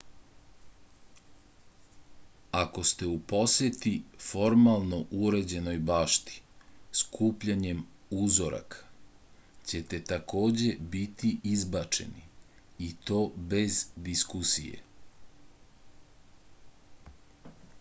ako ste u poseti formalno uređenoj bašti skupljanjem uzoraka ćete takođe biti izbačeni i to bez diskusije